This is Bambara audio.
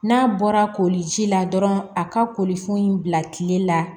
N'a bɔra koliji la dɔrɔn a ka kolifɛn in bila kile la